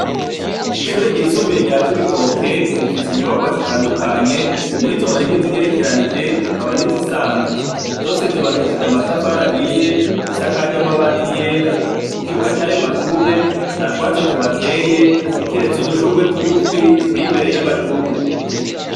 ishure ryisumbuye rya cibitoke rifise inyubakwa zitandukanye muri zo harimwo izigerekeranije hakaba nizisanzwe zose zubakishije amatafari ahiye zisakaje amabati yera ku kibuga cyayo mashure nta twatsi tuhateye kiretse udushurwe t'ugupfi duteye imbere y'amashure.